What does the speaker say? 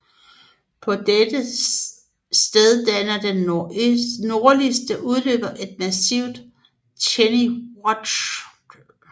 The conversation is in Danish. På det sted danner den nordligste udløber massivet Tženi Wrach